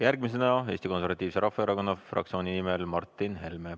Järgmisena Eesti Konservatiivse Rahvaerakonna fraktsiooni nimel Martin Helme.